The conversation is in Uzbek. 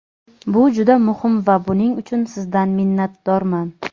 Bu juda muhim va buning uchun sizdan minnatdorman.